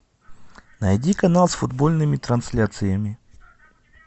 найди канал с футбольными трансляциями